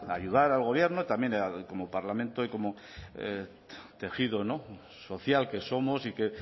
ayudar al gobierno también como parlamento y como tejido social que somos y que